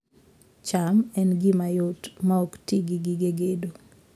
cham en gima yot maok ti gi gige gedo